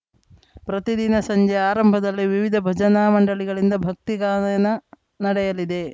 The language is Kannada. ಪ್ರತಿದಿನ ಸಂಜೆ ಆರಂಭದಲ್ಲಿ ವಿವಿಧ ಭಜನಾ ಮಂಡಳಿಗಳಿಂದ ಭಕ್ತಿ ಗಾನಯನ ನಡೆಯಲಿದೆ